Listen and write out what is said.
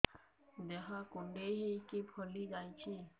ଦେହ କୁଣ୍ଡେଇ ହେଇକି ଫଳି ଯାଉଛି